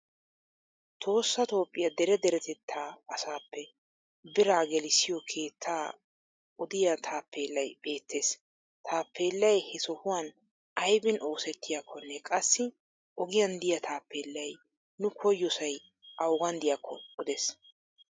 Tohossa toophphiya dere deretettaa asaappe biraa gellisiyo keetta odiya taappeellay beettes. Taappeellay he sohuwan aybin oosettiyakkonne qassi ogiyan diya taappeellay nu koyyosay awugan diyakko odes.